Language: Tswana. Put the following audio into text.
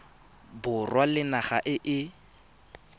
borwa le naga e e